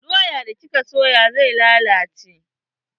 Doyan da kika soya zai lalace.